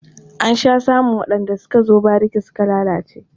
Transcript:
An sha samun waɗanda suka zo bariki suka lalace.